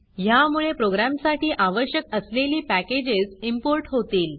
ह्यामुळे प्रोग्रॅमसाठी आवश्यक असलेली पॅकेजेस इंपोर्ट होतील